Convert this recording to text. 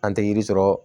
An tɛ yiri sɔrɔ